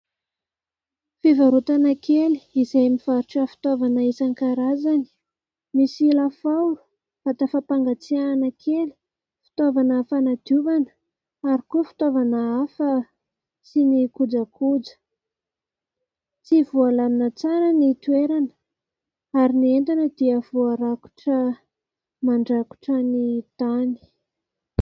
Fivarotana kely izay mivarotra fitaovana isan-karazany. Misy lafaoro, vata fampangatsiahana kely, fitaovana fanadiovana ary koa fitaovana hafa sy ny kojakoja. Tsy voalamina tsara ny toerana ary ny entana dia voarakotra mandrakotra ny tany.